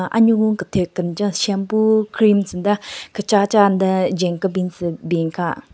Anyugun kenthyu kenjen shampoo creams nden kechacha nden jwen kebin tsü bin aka.